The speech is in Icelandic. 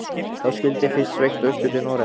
Þá skyldi fyrst sveigt austur til Noregs.